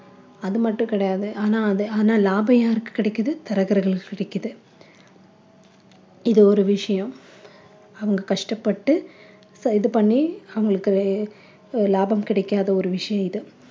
அது மட்டும் கிடையாது ஆனால் அத ஆனால் லாபம் யாருக்கு கிடைக்குது தரகர்களுக்கு கிடைக்குது இது ஒரு விஷயம் அவங்க கஷ்டப்பட்டு இது பண்ணி அவங்களுக்கு லாபம் கிடைக்காத ஒரு விஷயம் இது